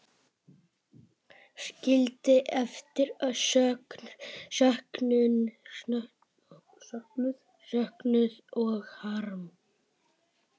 Skildi eftir söknuð og harm.